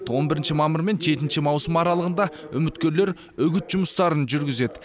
он бірінші мамыр мен жетінші маусым аралығында үміткерлер үгіт жұмыстарын жүргізеді